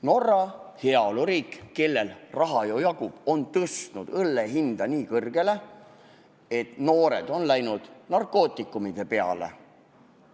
Norra, heaoluriik, kellel raha ju jagub, on tõstnud õllehinna nii kõrgeks, et noored on üle läinud narkootikumide peale.